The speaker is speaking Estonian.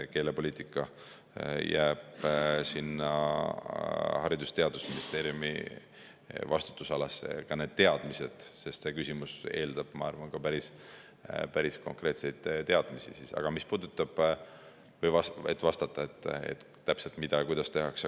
Keelepoliitika jääb sinna Haridus‑ ja Teadusministeeriumi vastutusalasse, ka need teadmised, sest see küsimus eeldab, ma arvan, päris konkreetseid teadmisi, et vastata täpselt, mida ja kuidas tehakse.